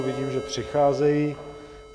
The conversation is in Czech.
Vidím, že přicházejí.